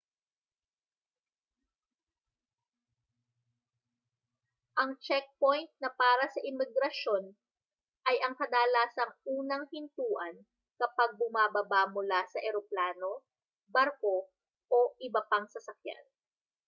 ang checkpoint na para sa imigrasyon ay ang kadalasang unang hintuan kapag bumababa mula sa eroplano barko o iba pang sasakyan